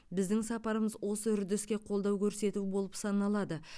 біздің сапарымыз осы үрдіске қолдау көрсету болып саналады